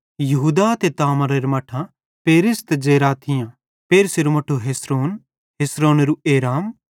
यहूदा ते तामारेरां मट्ठां पेरेस ते जेरह थियां पेरेसेरू मट्ठू हेस्रोन हेस्रोनेरू एराम